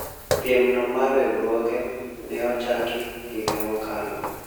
piem no mar riwruoge ne ochaki higa mokalo